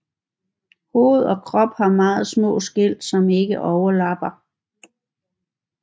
Hoved og krop har meget små skæl som ikke overlapper